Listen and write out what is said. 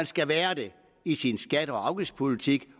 skal være det i sin skatte og afgiftspolitik